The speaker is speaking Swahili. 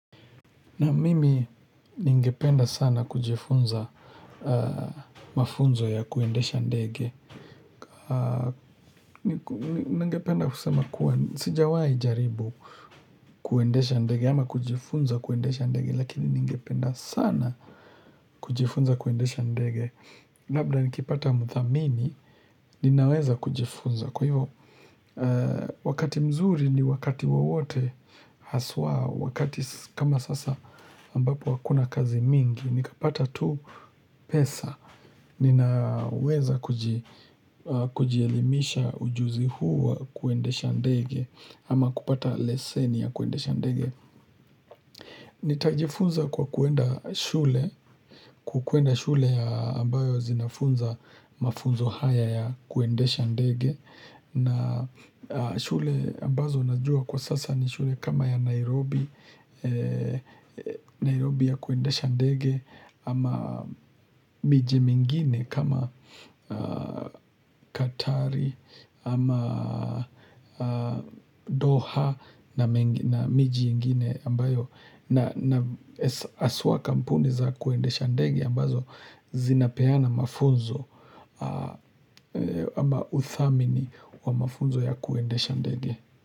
Na mimi ningependa sana kujifunza mafunzo ya kuendesha ndege. Ningependa kusema kuwa sijawai jaribu kuendesha ndege ama kujifunza kuendesha ndege lakini ningependa sana kujifunza kuendesha ndege. Labda nikipata mthamini ninaweza kujifunza kwa hivo wakati mzuri ni wakati wowote haswa wakati kama sasa ambapo hakuna kazi mingi. Nikapata tu pesa, ninaweza kujielimisha ujuzi huu wa kuendesha ndege, ama kupata leseni ya kuendesha ndege. Nitajifunza kwa kuenda shule, kukwenda shule ambayo zinafunza mafunzo haya ya kuendesha ndege. Na shule ambazo najua kwa sasa ni shule kama ya Nairobi Nairobi ya kuendesha ndege ama miji mingine kama Katari ama Doha na miji mingine ambayo na haswa kampuni za kuendesha ndege ambazo zinapeana mafunzo ama uthamini wa mafunzo ya kuendesha ndege.